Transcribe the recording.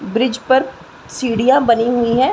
Bridge पर सीड़िया बनी हुई है।